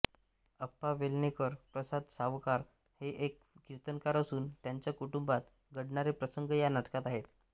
अप्पा वेलणकर प्रसाद सावकार हे एक कीर्तनकार असून त्यांच्या कुटुंबात घडणारे प्रसंग या नाटकात आहेत